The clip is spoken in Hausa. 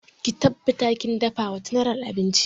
Ki tabbata kin dafa wa general abinci!